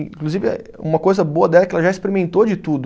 Inclusive eh, uma coisa boa dela é que ela já experimentou de tudo.